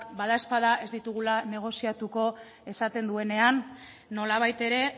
badaezpada ez ditugula negoziatuko esaten duenean nolabait ere